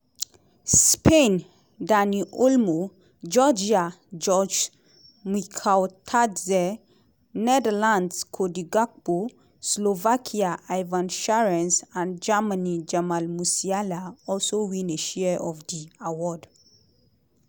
spain dani olmo georgia georges mikautadze netherlands cody gakpo slovakia ivan schranz and germany jamal musiala also win a share of di award.